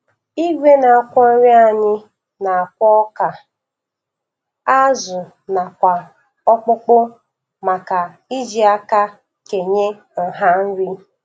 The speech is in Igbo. Igwe na-akwọ nri anyị na-akwọ ọka, azụ nakwa ọkpụkpụ maka iji aka kenye nha nri